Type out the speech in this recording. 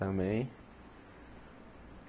Também.